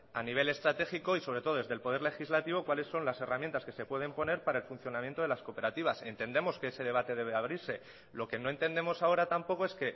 a nivel estratégico y sobre todo desde el poder legislativo cuáles son las herramientas que se pueden poner para el funcionamiento de las cooperativas entendemos que ese debate debe de abrirse lo que no entendemos ahora tampoco es